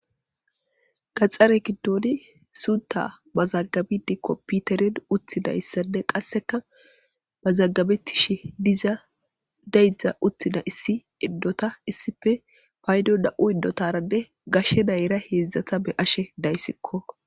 Gaxxare giddooni suunta ba zaggabidi kompiterin uttina yssade qasseka ba zaggabettishi diza daydzdza uttina issi iddota issife paydo da7u idotarande gashshe nayra heedzdzata be7ashe dayssikko.